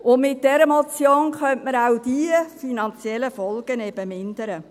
Mit dieser Motion könnte man auch diese finanziellen Folgen eben mindern.